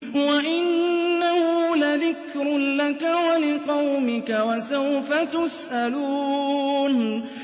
وَإِنَّهُ لَذِكْرٌ لَّكَ وَلِقَوْمِكَ ۖ وَسَوْفَ تُسْأَلُونَ